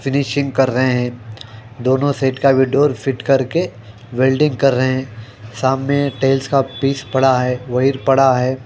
Finishing कर रहे है दोनों सेट का भी डोर फिट करके वेल्डिंग कर रहे हैं सामने टेल्स का पीस पड़ा है वही पड़ा है।